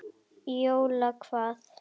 Jóla hvað?